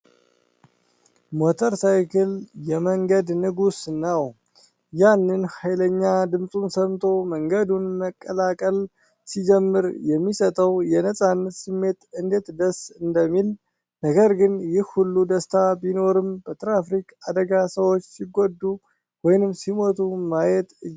ሞተር ሳይክል! የመንገድ ንጉስ ነው! ያንን ኃይለኛ ድምፁን ሰምቶ መንገዱን መቀላቀል ሲጀምር የሚሰጠው የነጻነት ስሜት እንዴት ደስ እንደሚል! ነገር ግን፣ ይህ ሁሉ ደስታ ቢኖርም፣ በትራፊክ አደጋ ሰዎች ሲጎዱ ወይም ሲሞቱ ማየት እጅግ ያሳዝናል!